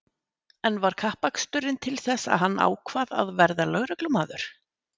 En var kappaksturinn til þess að hann ákvað að verða lögreglumaður?